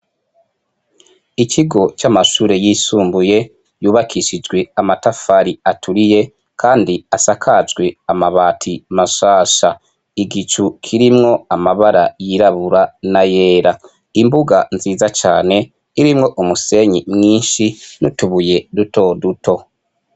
Ikigo c'amashure yisumbuye yubakishijwe amatafari aturiye, kandi asakajwe amabati mashasha igicu kirimwo amabara yirabura na yera imbuga nziza cane irimwo umusenyi mwinshi nutubuye duto duto.